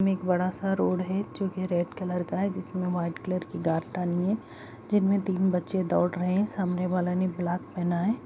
में एक बड़ा सा रोड है जो की रेंड कलर का है जिसमें व्हाइट कलर की गाट तानिए है जिनमें तीन बच्चे दौड़ रहे हैं सामने वाला ने ब्लैक पहना है।